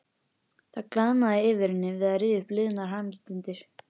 Það glaðnaði yfir henni við að rifja upp liðnar hamingjustundir.